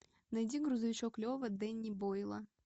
найди грузовичок лева дэнни бойла